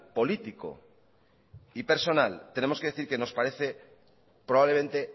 político y personal tenemos que decir que nos parece probablemente